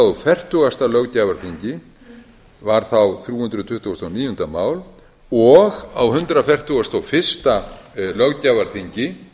og fertugasta löggjafarþingi var þá þrjú hundruð tuttugasta og níunda mál og á hundrað fertugasta og fyrsta löggjafarþingi